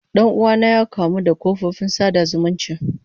Dan uwana ya kamu da kafofin sada zumunci.